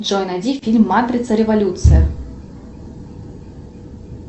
джой найди фильм матрица революция